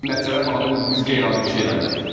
Nəticələr baxanda biz qeyri-adi bir şey eləməmişik.